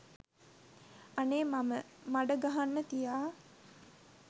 අනේ මම මඩ ගහන්න තියා